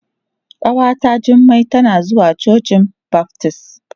Ƙawata Jummai tana zuwa cocin baftis.